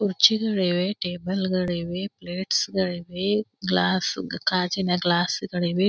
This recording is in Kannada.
ಕುರ್ಚ್ ಗಳಿವೆ ಟೇಬಲ್ ಗಳಿವೆ ಪ್ಲೇಟ್ಸ್ ಗಳಿವೆ ಗ್ಲಾಸ್ ಗಾಜಿನ ಗ್ಲಾಸ್ ಗಳಿವೆ.